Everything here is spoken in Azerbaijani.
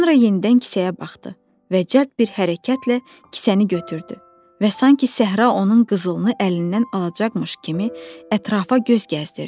Sonra yenidən kisəyə baxdı və cəld bir hərəkətlə kisəni götürdü və sanki səhra onun qızılını əlindən alacaqmış kimi ətrafa göz gəzdirdi.